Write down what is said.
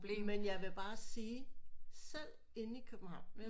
Men jeg blev bare sige selv inde i København